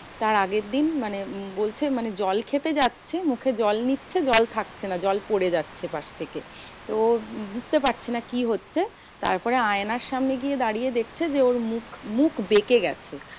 তাই আগের দিন মানে বলছে মানে জল খেতে যাচ্ছে মুখে জল নিচ্ছে জল থাকছে না, জল পরে যাচ্ছে পাস থেকে। তো ও বুজতে পারছে না কি হচ্ছে? তারপরে আয়নার সামনে গিয়ে দাঁড়িয়ে দেখছে যে, ওর মুখ মুখ বেঁকে গেছে।